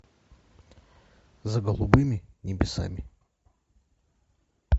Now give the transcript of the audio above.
за голубыми небесами